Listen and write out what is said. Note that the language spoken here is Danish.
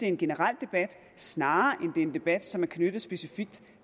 en generel debat snarere end er en debat som er knyttet specifikt